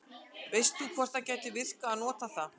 veist þú hvort það gæti virkað að nota það